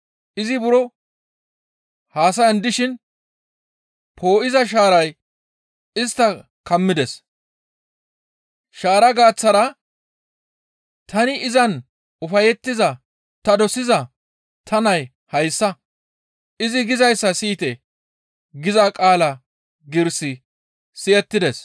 Izi buro haasayan dishin poo7iza shaaray istta kammides; shaara gaaththara, «Tani izan ufayettiza ta dosiza ta nay hayssa; izi gizayssa siyite» giza qaala giiris Siyite.